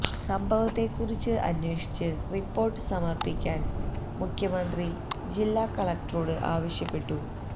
സംഭവത്തെ കുറിച്ച് അന്വേഷിച്ച് റിപ്പോർട്ട് സമർപ്പിക്കാൻ മുഖ്യമന്ത്രി ജില്ലാ കളക്ടറോട് ആവശ്യപ്പെട്ടു